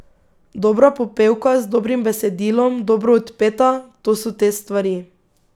Dobra popevka z dobrim besedilom dobro odpeta, to so te stvari.